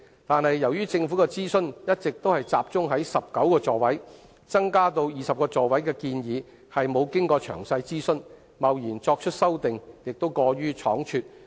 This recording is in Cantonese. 但是，由於政府的諮詢一直集中在增加小巴座位至19個，增加至20個座位的建議並沒有經過詳細諮詢，貿然作出修訂，亦過於倉卒。